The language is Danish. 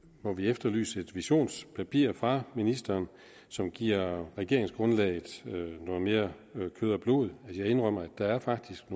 må vi efterlyse et visionspapir fra ministeren som giver regeringsgrundlaget noget mere kød og blod jeg indrømmer at der faktisk